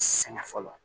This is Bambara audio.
Sɛgɛn fɔlɔ